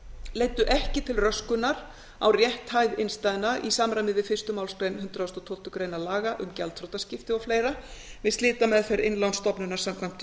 leiddu ekki til röskunar á rétthæð innstæðna í samræmi við fyrstu málsgrein hundrað og tólftu grein laga um gjaldþrotaskipti og fleira við slitameðferð innlánsstofnunar samkvæmt